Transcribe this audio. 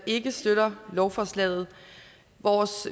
ikke støtter lovforslaget